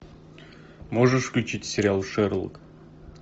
можешь включить сериал шерлок